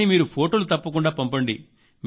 కానీ మీరు ఫొటోలు తప్పకుండా పంపండి